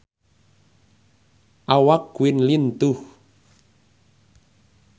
Awak Queen lintuh